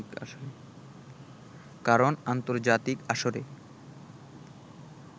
কারন আন্তর্জাতিক আসরে